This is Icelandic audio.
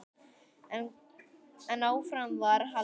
En áfram var haldið.